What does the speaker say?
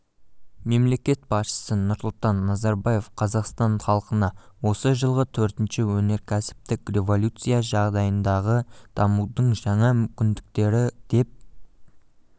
мемлекет басшысы нұрсұлтан назарбаев қазақстан халқына осы жылғы төртінші өнеркәсіптік революция жағдайындағы дамудың жаңа мүмкіндіктері деп